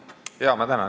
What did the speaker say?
Ma tänan!